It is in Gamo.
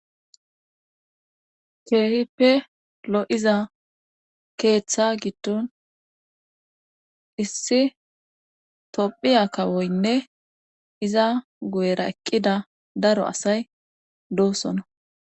keehippe lo7iza keeththa giddon issi tophiya kawoynne iza guyera eqqida daro asay doosona